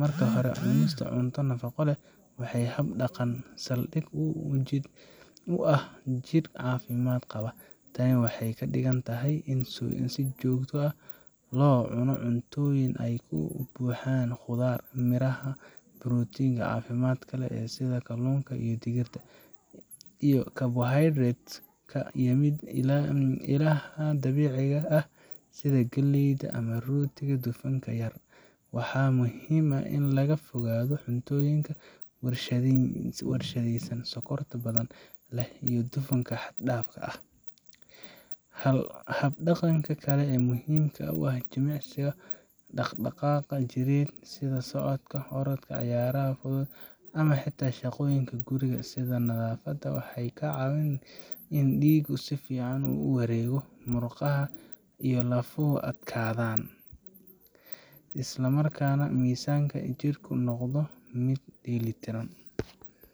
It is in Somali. Marka hore, cunista cunto nafaqo leh waa hab dhaqan saldhig u ah jidh caafimaad qaba. Tani waxay ka dhigan tahay in si joogto ah loo cuno cuntooyin ay ka buuxaan khudaar, miraha, borotiinka caafimaadka leh sida kalluunka ama digirta, iyo carbohydrates ka yimid ilaha dabiiciga ah sida galleyda ama rootiga dufanka yar. Waxaa muhiim ah in laga fogaado cuntooyinka warshadaysan, sokorta badan leh, iyo dufanka xad-dhaafka ah. Hab dhaqanka kale ee muhiimka ah waa jimicsiga. Dhaqdhaqaaq jireed sida socodka, orodka, ciyaaraha fudud, ama xitaa shaqooyinka guriga sida nadaafadda waxay ka caawiyaan in dhiiggu si fiican u wareego, murqaha iyo lafuhu adkaadaan, isla markaana miisaanka jidhku noqdo mid dheellitiran.